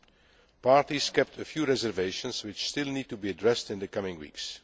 text. The parties kept a few reservations, which still need to be addressed in the coming